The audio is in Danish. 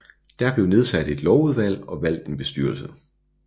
Der blev nedsat et lovudvalg og valgt en bestyrelse